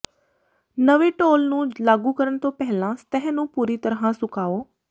ਨਵੇਂ ਢੋਲ ਨੂੰ ਲਾਗੂ ਕਰਨ ਤੋਂ ਪਹਿਲਾਂ ਸਤਹ ਨੂੰ ਪੂਰੀ ਤਰ੍ਹਾਂ ਸੁਕਾਓ